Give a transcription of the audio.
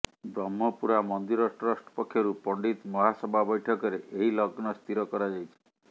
ବ୍ରହ୍ମପୁରା ମନ୍ଦିର ଟ୍ରଷ୍ଟ ପକ୍ଷରୁ ପଣ୍ଡିତ ମହାସଭା ବୈଠକରେ ଏହି ଲଗ୍ନ ସ୍ଥିର କରାଯାଇଛି